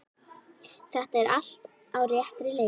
Þetta er allt á réttri leið.